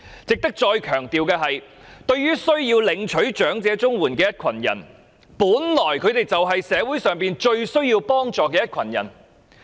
值得再強調的是，需要領取長者綜援的人士，本來就是社會上最需要幫助的一群人。